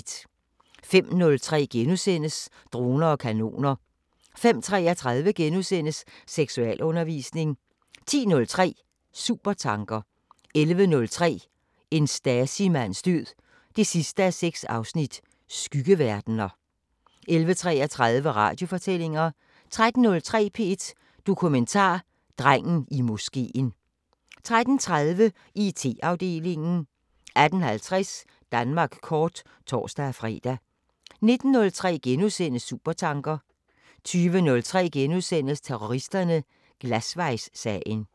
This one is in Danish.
05:03: Droner og kanoner * 05:33: Seksualundervisning * 10:03: Supertanker 11:03: En Stasi-mands død 6:6: Skyggeverdener 11:33: Radiofortællinger 13:03: P1 Dokumentar: Drengen i moskeen 13:30: IT-afdelingen 18:50: Danmark kort (tor-fre) 19:03: Supertanker * 20:03: Terroristerne: Glasvejssagen *